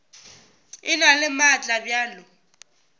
e na le maatla bjalo